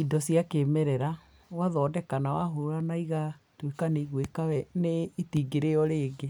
indo cia kĩmerera ũgathondeka na wahũra igatuika nĩ igwika we nĩ itingĩrĩo rĩngĩ.